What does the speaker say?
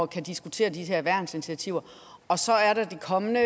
kan diskutere de her værnsinitiativer og så er der det kommende